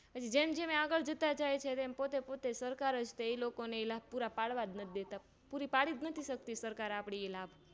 જેમ જેમ એ આગળ જતા જાય છે તેમ પોતે પોતે સરકારજએ લોકોને લાભ પુરા પાડવા જ નથી દેતા પુરી પાડીજ નથી શકતી સરકાર આપણી એ લાભ